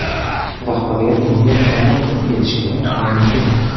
Rahbariyat bunga qanday qilib erishgani noma’lum.